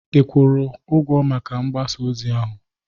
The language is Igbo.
ị kwụrụ maka mgbasa ozi ahụ?